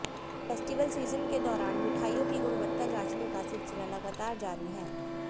festival season के दौरान मिठाइयों की गुणवत्ता जांचने का सिलसिला लगातार जारी है